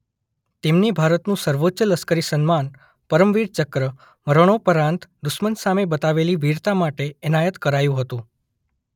તેમને ભારતનું સર્વોચ્ચ લશ્કરી સન્માન પરમવીર ચક્ર મરણોપરાંત દુશ્મન સામે બતાવેલી વીરતા માટે એનાયત કરાયું હતું.